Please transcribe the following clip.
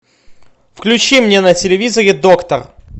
включи мне на телевизоре доктор